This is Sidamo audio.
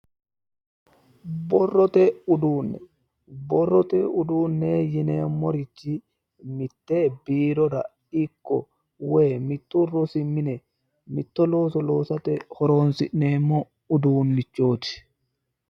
Borrote uduunne borrote uduunne yineemmorichi mitte biirora ikko woyi mittu rosi mine mitto looso loosate horoonsi'neemmo uduunnichooti